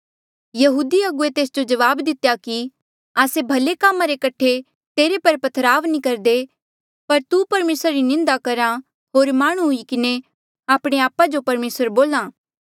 यहूदी अगुवे तेस जो जवाब दितेया कि आस्से भले कामा रे कठे तुजो पथराव नी करदे पर तू परमेसरा री निंदा करहा होर माह्णुं हुई किन्हें आपणे आपा जो परमेसर बोल्हा